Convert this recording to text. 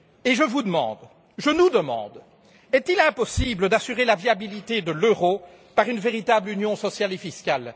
Je vous demande, je nous demande est il impossible d'assurer la viabilité de l'euro par une véritable union sociale et fiscale?